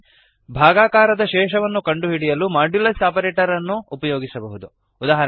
ಸೂಚನೆ ಭಾಗಾಕಾರದ ಶೇಷವನ್ನು ಕಂಡುಹಿಡಿಯಲು ಮಾಡ್ಯುಲಸ್ ಆಪರೇಟರ್ ಅನ್ನು ಉಪಯೋಗಿಸಬಹುದು